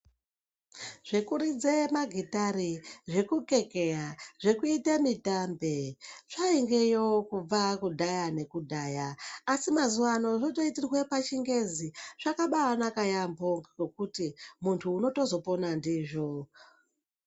Zvekuridze magitare, zvekukekeya ,zvekuite mitambe zvaingeyo kubva kudhaya nekudhaya asi mazuvaano zvotoitirwe pachingezi zvakabaanaka yaambo ngekuti muntu unotozopona ndizvo.